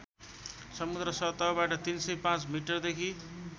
समुद्र सतहबाट ३०५ मिटरदेखि